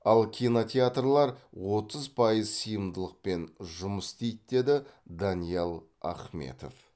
ал кинотеатрлар отыз пайыз сыйымдылықпен жұмыс істейді деді даниал ахметов